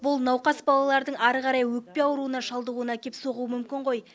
бұл науқас балалардың әрі қарай өкпе ауруына шалдығуына әкеп соғуы мүмкін ғой